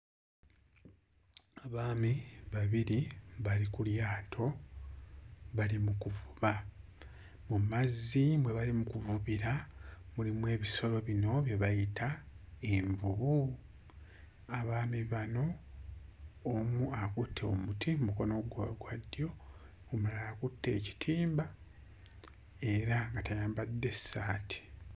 Abaami babiri bali ku lyato bali mu kuvuba mu mazzi mwe bali mu kuvubira mulimu ebisolo bino bye bayita envubu. Abaami bano omu akutte omuti mmukono gwe ogwa ddyo omulala akutte ekitimba era nga tayambadde ssaati.